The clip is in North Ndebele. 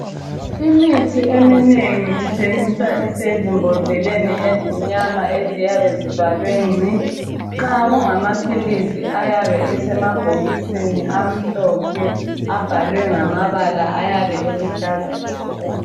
Imithi eminengi ithengiswa isezibhodleleni ezimnyama eziyabe zivalwe ngci nxa kungamaphilizi ayabe esemabhokisini amhlophe abhalwe ngamabala ayabe eluhlaza tshoko.